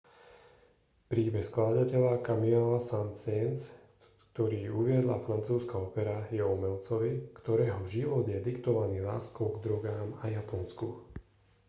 príbeh skladateľa camille saint-saens ktorý uviedla francúzska opera je o umelcovi ktorého život je diktovaný láskou k drogám a japonsku